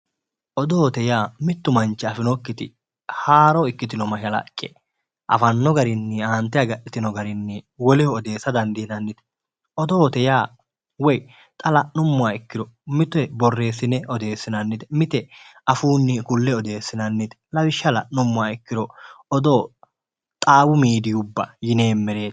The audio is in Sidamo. Odoote yaa mitu manchi afinokkiti haaro ikkitino mashalaqqe afano garinni aante agadhitino garinni woleho odeessa dandinannite, odoote yaa xa la'nuummoro mite borreesine odeessinannite mite afuunni ku'le odeessinannite lawishsha la'nuummoha ikkiro xaawu midiiyubba yinneemmere.